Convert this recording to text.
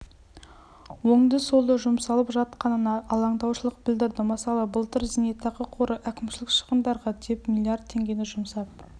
оңды-солды жұмсалып жатқанына алаңдаушылық білдірді мысалы былтыр зейнетақы қоры әкімшілік шығындарға деп млрд теңгені жұмсап